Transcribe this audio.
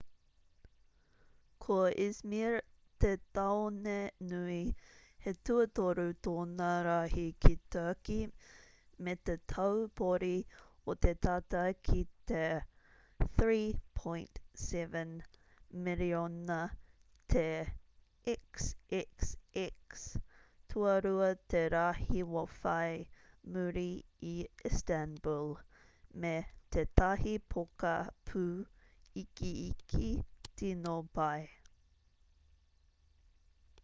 ko izmir te tāone nui he tuatoru tōna rahi ki turkey me te taupori o te tata ki te 3.7 miriona te xxx tuarua te rahi whai muri i istanbul me tētahi poka pū ikiiki tino pai